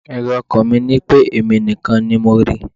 Èrò ọkàn mi ni pé èmi nìkan ni mo rí i.